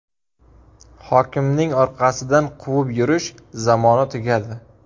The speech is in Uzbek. Hokimning orqasidan quvib yurish zamoni tugadi.